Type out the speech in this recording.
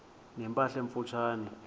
ne mpahla emfutshane